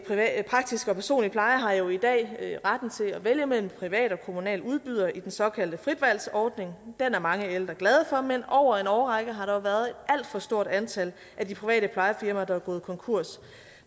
praktisk og personlig pleje har jo i dag retten til at vælge mellem private og kommunale udbydere i den såkaldte fritvalgsordning den er mange ældre glade for men over en årrække har der jo været et alt for stort antal af de private plejefirmaer der er gået konkurs